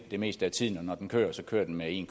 det meste af tiden og når den kører kører den med en